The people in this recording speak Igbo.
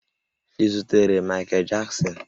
Ị zutere Mikel Jaksin?